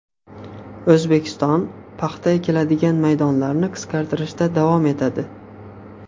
O‘zbekiston paxta ekiladigan maydonlarni qisqartirishda davom etadi.